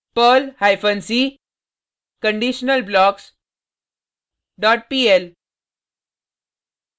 perl hyphen c conditionalblocks dot pl